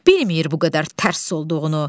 Bilmir bu qədər tərs olduğunu.